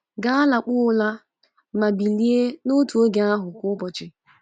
Gaa lakpuo ụra ma bilie n’otu oge ahụ kwa ụbọchị.